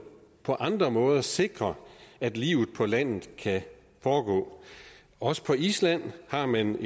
på andre måder sikrer at livet på landet kan foregå også på island har man